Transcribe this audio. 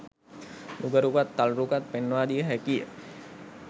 නුග රුකත් තල් රුකත් පෙන්වා දිය හැකි ය.